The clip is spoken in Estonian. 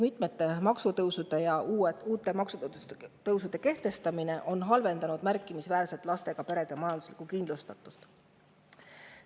Mitmete maksutõusude ja uute maksude kehtestamine on märkimisväärselt halvendanud lastega perede majanduslikku kindlust.